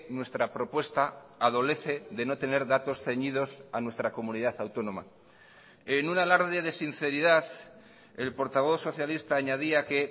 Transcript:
nuestra propuesta adolece de no tener datos ceñidos a nuestra comunidad autónoma en un alarde de sinceridad el portavoz socialista añadía que